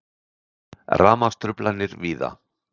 Rafmagnstruflanir víða